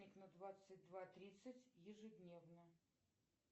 будильник на двадцать два тридцать ежедневно